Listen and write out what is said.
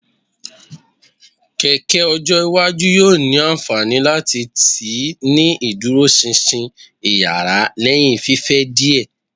Keke ojo iwaju yoo ni anfani lati tii ni iduroṣinṣin iyara lẹhin fifẹ diẹ